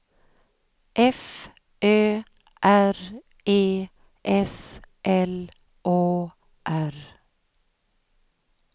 F Ö R E S L Å R